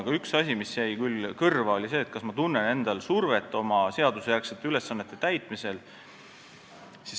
Aga üks asi, mis jäi küll kõrva, oli see, kas ma tunnen endal survet oma seadusjärgsete ülesannete täitmisel.